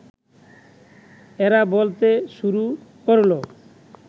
এরা বলতে শুরু করল